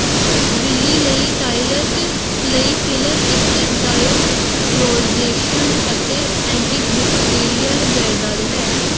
ਬਿੱਲੀ ਲਈ ਟਾਇਲਟ ਲਈ ਫਿਲਰ ਇੱਕ ਡਾਈਡਰੋਇਜ਼ੇਸ਼ਨ ਅਤੇ ਐਂਟੀਬੈਕਟੀਰੀਅਲ ਜਾਇਦਾਦ ਹੈ